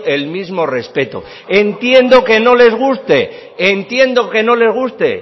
el mismo respeto entiendo que no les guste entiendo que no les guste